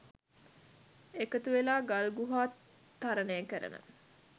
එකතු වෙලා ගල් ගුහා තරණය කරන